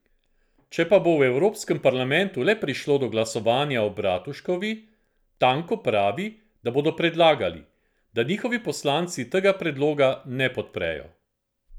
Če pa bo v evropskem parlamentu le prišlo do glasovanja o Bratuškovi, Tanko pravi, da bodo predlagali, da njihovi poslanci tega predloga ne podprejo.